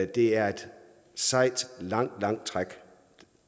det er et sejt og langt langt træk